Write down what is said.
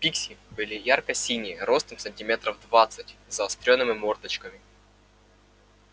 пикси были ярко-синие ростом сантиметров двадцать с заострёнными мордочками